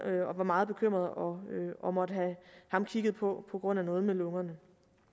og var meget bekymrede og og måtte have ham kigget på på grund af noget med lungerne